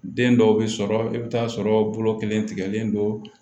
Den dɔw bɛ sɔrɔ i bɛ taa sɔrɔ bolo kelen tigɛlen don